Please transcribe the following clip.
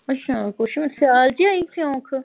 ਅੱਛਾ ਕੁਛ ਵੀ ਸਿਆਲ ਚ ਹੋਈ ਸਿਉਂਖ?